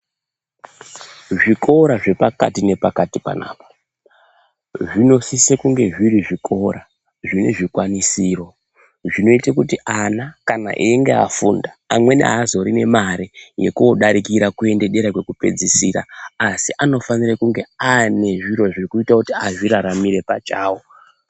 Zvikora zvepakati nekapati panapa zvinosisa kunge zviri zvikora zvine zvikwanisiro zvinoite kuti ana kana ainge aifunda amweni haazorine mari yekodarikira kuenda dera kwekupedzisira asi anofanire kunge aine zviro zvekuite aizviraramire pachawo.